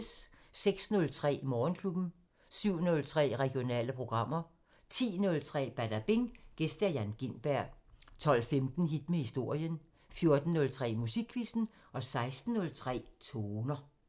06:03: Morgenklubben 07:03: Regionale programmer 10:03: Badabing: Gæst Jan Gintberg 12:15: Hit med historien 14:03: Musikquizzen 16:03: Toner